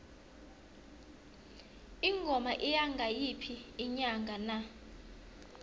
ingoma iya ngayiphi inyanga na